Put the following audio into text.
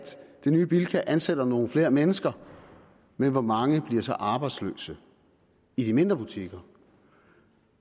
det nye bilka ansætter nogle flere mennesker men hvor mange bliver så arbejdsløse i de mindre butikker